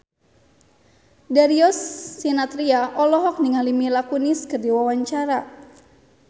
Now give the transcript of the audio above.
Darius Sinathrya olohok ningali Mila Kunis keur diwawancara